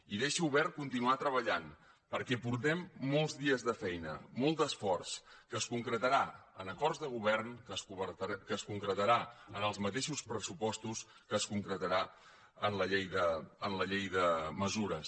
i deixo obert continuar treballant perquè portem molts dies de feina molt d’esforç que es concretarà en acords de govern que es concretarà en els mateixos pressupostos que es concretarà en la llei de mesures